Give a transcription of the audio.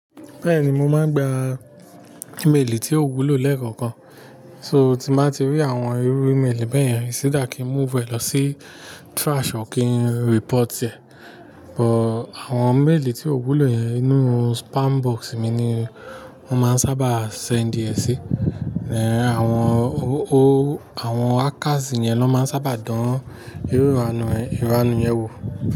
Bẹ́ẹ̀ni, mo máa ń gba ímélì tí ó wúlò lẹ́ẹ̀kọ̀kan, so tí màá ti rí àwọn irú ímélì bẹ́ẹ̀ yẹn, sì dà kí n move ẹ lọ sí trash o kí n report ẹ. But àwọn mail tí ó wúlò yẹn inú spam box mi ni wọ́n máa ń sábà send ẹ sí. Ẹ̀ àwọn o o àwọn hackers yẹn ló máa ń sábà dán irú ìranù ìranù yẹn wò.